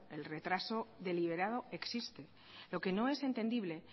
el retraso deliberado existe lo que no es entendible